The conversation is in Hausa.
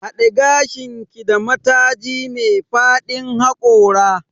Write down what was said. Haɗe gashinki da mataji me fadin haƙora.